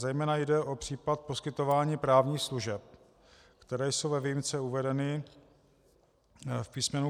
Zejména jde o případ poskytování právních služeb, které jsou ve výjimce uvedeny v písm.